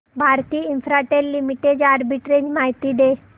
Bharti Infratel limited arbitrage माहिती दे